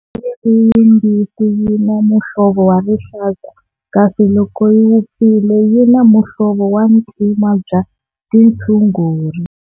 Ri yimbisi yi na muhlovo wa rihlaza kasi loko yi vupfile yi na muhlovo wa ntima bya tintshuguri.